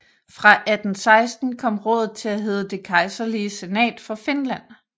Fra 1816 kom rådet til at hedde Det kejserlige senat for Finland